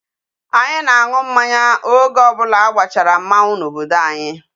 Anyi na-aṅụ mmanya oge obula agbachara mmanwu n'obodo anyi.